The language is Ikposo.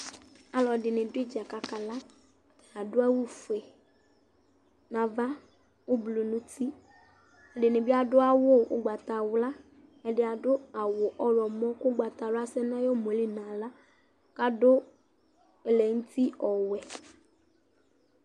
Alu ɛdini du idza ku akala Adu awu ɔfue nu ava ublɔ nu uti Ɛdini bi adu awu ugbatawla Ɛdini bi adu awu ugbatawla Ɛdi adu awu ɔɣlɔmɔ ku ugbatawla asɛ nu ayu ɔmueli nu aɣla ku adu ɛlɛ nu uti ɔwɛ